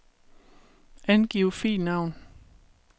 Angiv filnavn.